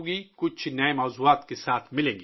کچھ نئے موضوعات کے ساتھ ملیں گے